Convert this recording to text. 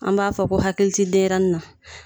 An b'a fɔ ko hakili ti denyɛrɛni na